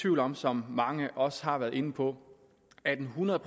tvivl om som mange også har været inde på at en hundrede